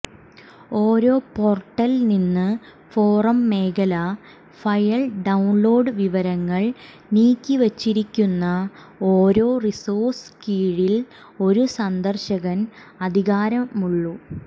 ഓരോ പോർട്ടൽ നിന്ന് ഫോറം മേഖല ഫയൽ ഡൌൺലോഡ് വിവരങ്ങൾ നീക്കിവച്ചിരിക്കുന്ന ഓരോ റിസോഴ്സ് കീഴിൽ ഒരു സന്ദർശകൻ അധികാരമുള്ളൂ